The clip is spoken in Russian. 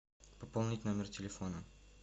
пополнить номер телефона